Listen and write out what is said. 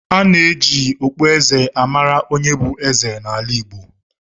A na-eji okpueze a mara onye bụ eze n’ala Igbo